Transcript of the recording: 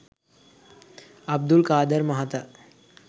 අබ්දුල් කාදර් මහතා